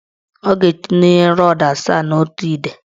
Ọ ga-etinye rọdụ asaa n' otu ide.